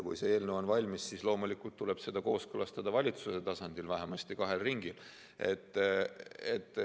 Kui eelnõu on valmis, siis tuleb seda loomulikult kooskõlastada valitsuse tasandil, vähemasti kahel ringil.